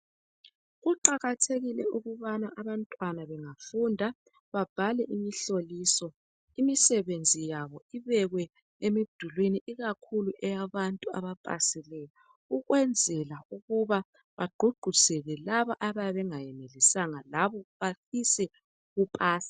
Kuqakathekile ukubana abantwana bengafunda babhale imihloliso. Imisebenzi yabo ibekwe emidulwini ikakhulu eyabantu abapasileyo ukwenzela ukuba bagqugquzele labo abayabe bengayenelisanga labo bafise ulupasa.